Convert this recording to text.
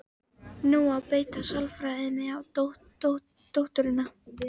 Nú á að beita sálfræðinni á dótturina.